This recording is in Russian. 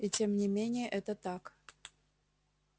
и тем не менее это так